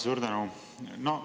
Suur tänu!